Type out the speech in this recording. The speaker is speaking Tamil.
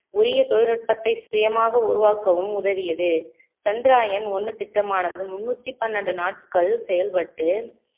உரிய தொழில்நுட்பத்தை சுயமாக உருவாக்கவும் உதவியது சந்திரயான் ஒண்ணு திட்டமானது முன்னூத்தி பன்னெண்டு நாட்கள் செயல்பட்டு